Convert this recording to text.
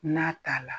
N'a t'a la